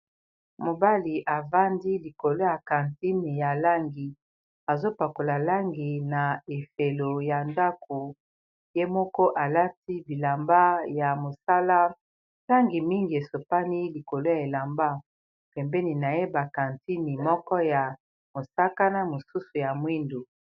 Mobali avandi likolo ya kantine ya langi azopakola langi na efelo ya ndako ye moko alati bilamba ya mosala ntangi mingi esopani likolo ya elamba pembeni na ye bakantine moko ya mosakana mosusu ya mwindu